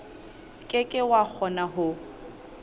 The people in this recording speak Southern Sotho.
ke ke wa kgona ho